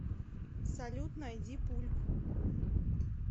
салют найди пульп